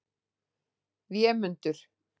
Vémundur